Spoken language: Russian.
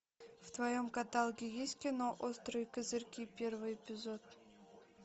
в твоем каталоге есть кино острые козырьки первый эпизод